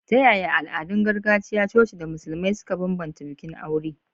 Ta yaya al'adun gargajiya, coci, da Musulmai suka bambanta bikin aure?